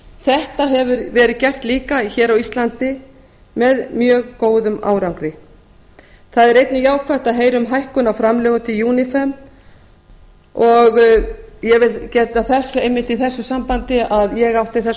þetta hefur verið gert líka hér á íslandi með mjög góðum árangri það er einnig jákvætt að heyra um hækkun á framlögum til unifem og ég vil geta þess einmitt í þessu sambandi að ég átti þess